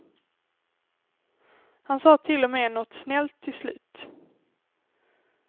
Han sa till och med något snällt till slut.